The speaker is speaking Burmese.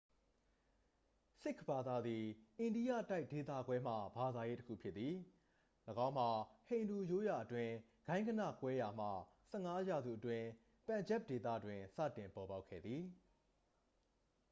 """ဆစ်ခ်ဘာသာသည် အိန္ဒိယတိုက်ဒေသခွဲမှ ဘာသာရေး တစ်ခုဖြစ်သည်။ ၎င်းမှာ ဟိန္ဒူရိုးရာအတွင်း ဂိုဏ်းဂဏကွဲရာမှ ၁၅ ရာစုအတွင်း ပန်ဂျပ်ဒေသတွင် စတင်ပေါ်ပေါက်ခဲ့သည်။""